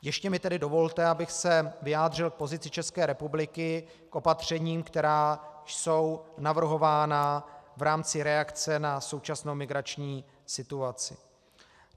Ještě mi tedy dovolte, abych se vyjádřil k pozici České republiky, k opatřením, která jsou navrhována v rámci reakce na současnou migrační situaci.